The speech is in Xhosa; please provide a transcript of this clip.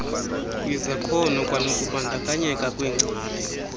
kwizakhono kwanokubandakanyeka kweengcali